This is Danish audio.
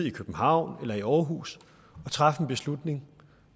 i københavn eller i aarhus træffes en beslutning